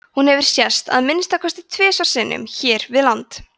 hún hefur sést að minnsta kosti tvisvar sinnum hér við land